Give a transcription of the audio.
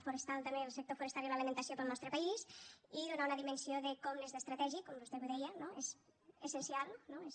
forestal també el sector forestal i l’alimentació per al nostre país i donar una dimensió de com n’és d’estratègic com vostè bé ho deia no és essencial no és